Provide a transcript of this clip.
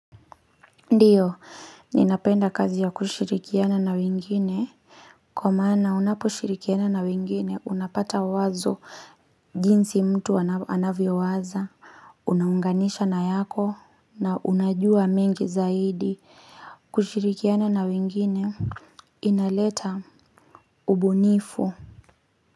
Ndiyo ninapenda kazi ya kushirikiana na wengine Kwa maana unaposhirikiana na wengine unapata wazo jinsi mtu anavyo waza Unaunganisha na yako na unajua mingi zaidi kushirikiana na wengine Inaleta ubunifu.